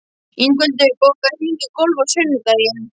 Ingveldur, bókaðu hring í golf á sunnudaginn.